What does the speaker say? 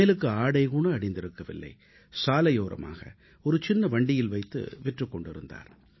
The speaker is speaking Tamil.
மேலாடை கூட அணியாத அவர் சாலையோரமாக ஒரு சின்ன வண்டியில் வைத்து விற்றுக் கொண்டிருந்தார்